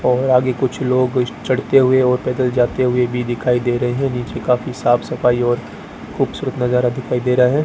और आगे कुछ लोग चढ़ते हुए और पैदल जाते हुए भी दिखाई रहे हैं नीचे काफी साफ सफाई और खूबसूरत नज़ारा दिखाई दे रहा हैं।